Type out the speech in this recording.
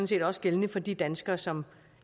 set også gældende for de danskere som